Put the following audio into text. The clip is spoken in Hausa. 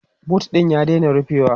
boot ɗin ya daina rufewa